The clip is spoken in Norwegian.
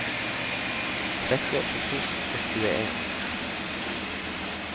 trettiåtte tusen og tjueen